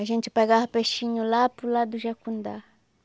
A gente pegava peixinho lá para o lado do Jacundá.